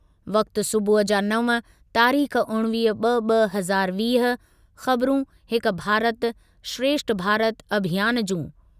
वक़्ति सूबुह जा नव, तारीख़ उणिवीह ॿ ॿ हज़ार वीह, ख़बरुं हिकु भारत श्रेष्ठ भारत अभियान जूं।